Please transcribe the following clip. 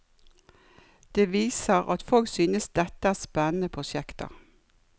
Det viser at folk synes dette er spennende prosjekter.